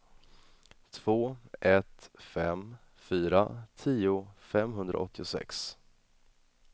två ett fem fyra tio femhundraåttiosex